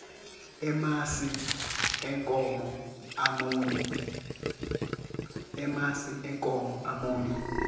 emasi enkhomo amunyu